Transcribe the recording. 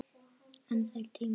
En þeir tímar!